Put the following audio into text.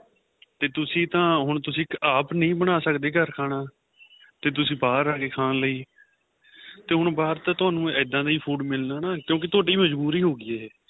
ਤੇ ਤੁਸੀਂ ਤਾਂ ਆਪਾਂ ਨਹੀਂ ਬਣਾ ਸਕਦੇ ਦੇ ਘਰ ਖਾਣਾ ਤੇ ਤੁਸੀਂ ਬਹਾਰ ਆ ਗਏ ਖਾਨ ਲਈ ਹੁਣ ਬਹਾਰ ਤਾਂ ਤੁਹਾਨੂੰ ਇਹਦਾ ਦਾ ਹੀ food ਮਿਲਣਾ ਕਿਉਂਕਿ ਤੁਹਾਡੀ ਮਜ਼ਬੂਰੀ ਹੋਗੀ ਏ